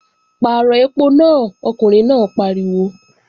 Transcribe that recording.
Pàrọ̀ ẹpo náà, ọkùnrin náà pariwo!